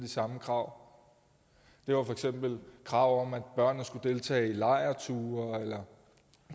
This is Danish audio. samme krav det var for eksempel krav om at børnene skulle deltage i lejrture eller